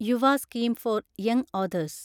Yuva scheme for young authors